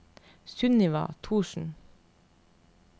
Sunniva Thorsen